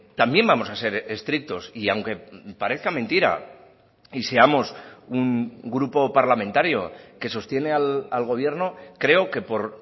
también vamos a ser estrictos y aunque parezca mentira y seamos un grupo parlamentario que sostiene al gobierno creo que por